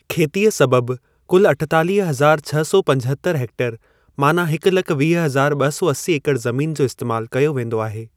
खेतीअ सबबु कुल अठेतालीह हजार छह सौ पंजहत्तर हेक्टेयर माना हिकु लख वीह हजार ॿ सौ असी एकड़ ज़मीन जो इस्तैमालु कयो वेंदो आहे।